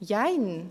Jein!